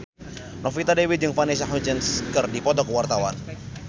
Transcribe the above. Novita Dewi jeung Vanessa Hudgens keur dipoto ku wartawan